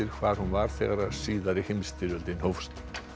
hvar hún var þegar seinni heimsstyrjöldin hófst